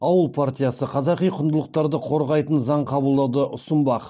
ауыл партиясы қазақи құндылықтарды қорғайтын заң қабылдауды ұсынбақ